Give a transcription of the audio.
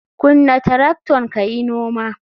Kunna tracton kayi noma.